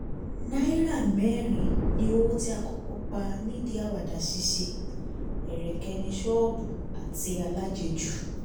náírà mẹ́rin ni owó tí a kọ́kọ́ pa nídìí àwàdà ṣíṣe - ẹ̀rẹ̀kẹ̀níṣọ́ọ̀bù àti alájẹjù